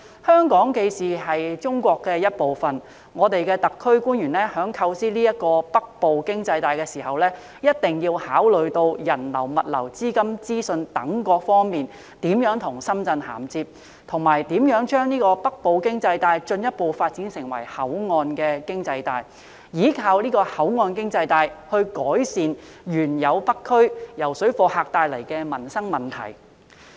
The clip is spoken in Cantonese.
香港既是中國的一部分，我們的特區官員在構思這條"北部經濟帶"的時候，一定要考慮人流、物流、資金及資訊等各方面如何跟深圳銜接，以及如何將北部經濟帶進一步發展成口岸經濟帶，依靠口岸經濟帶改善原有北區由水貨客帶來的民生問題。